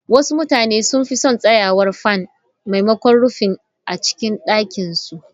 Wasu mutane sun fi son tsayawar fan maimakon Rufi a cikin ɗakin su.